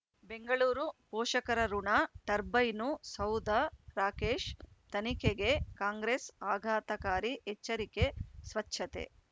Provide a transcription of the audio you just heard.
ಬೆಂಗಳೂರು ಪೋಷಕರಋಣ ಟರ್ಬೈನು ಸೌಧ ರಾಕೇಶ್ ತನಿಖೆಗೆ ಕಾಂಗ್ರೆಸ್ ಆಘಾತಕಾರಿ ಎಚ್ಚರಿಕೆ ಸ್ವಚ್ಛತೆ